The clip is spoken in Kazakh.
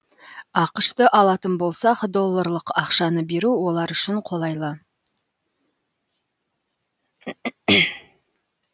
ақш ты алатын болсақ долларлық ақшаны беру олар үшін қолайлы